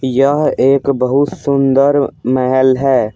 यह एक बहुत सुंदर महल है।